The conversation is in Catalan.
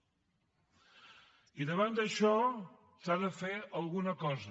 i davant d’això s’ha de fer alguna cosa